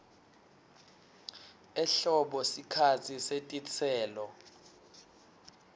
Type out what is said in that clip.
ehlobo sikhatsi setitselo